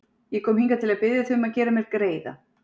Ég kom hingað til að biðja þig um að gera mér greiða.